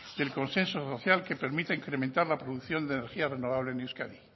del consenso social que permite incrementar la producción de energía renovable en euskadi